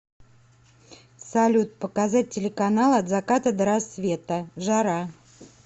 салют показать телеканал от заката до рассвета жара